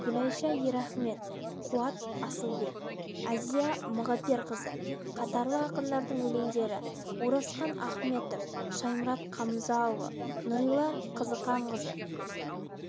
гүлайша ерахмет қуат асылбек азия мағыперқызы қатарлы ақындардың өлеңдері оразқан ахметов шаймұрат қамзаұлы нұрила қызықанқызы